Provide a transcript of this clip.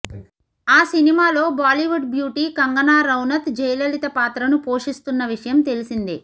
ఆ సినిమాలో బాలీవుడ్ బ్యూటీ కంగనా రనౌత్ జయలలిత పాత్రను పోషిస్తున్న విషయం తెల్సిందే